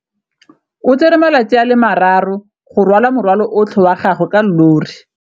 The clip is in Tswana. O tsere malatsi a le marraro go rwala morwalo otlhe wa gagwe ka llori.